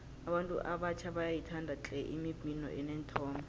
abantu abatjha bayayithanda tle imibhino eneenthombe